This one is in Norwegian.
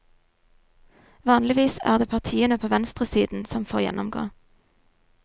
Vanligvis er det partiene på venstresiden som får gjennomgå.